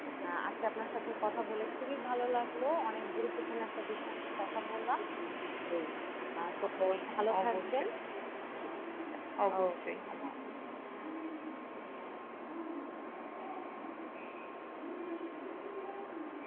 আহ আজকে আপনার সাথে কথা বলে খুবই ভালো লাগলো, অনেক গুরুত্বপূর্ণ একটা বিষয় নিয়ে কথা বললাম,